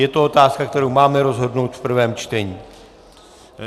Je to otázka, kterou máme rozhodnout v prvém čtení.